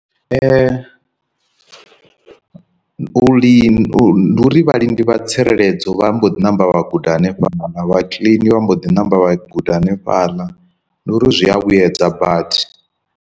U li ndi uri vha lindi vha tsireledzo vha mbo ḓi namba vha guda henefhaḽa, vha kiḽini vha mbo ḓi namba vha guda henefhaḽa nduri zwi a vhuedza badi.